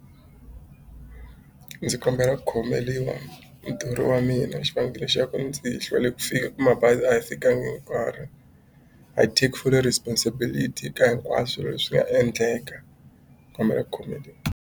Ndzi kombela ku khomeriwa muthori wa mina xivangelo xa ku ndzi hlwele ku fika ka mabazi a yi fikanga hi nkarhi I take fully responsibility ka hinkwaswo leswi nga endleka kombela ku khomeriwa.